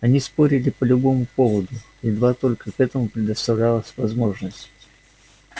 они спорили по любому поводу едва только к этому предоставлялась возможность